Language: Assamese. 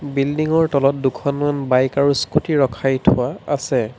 বিল্ডিংৰ তলত দুখনমান বাইক আৰু স্কুটি ৰখাই থোৱা আছে।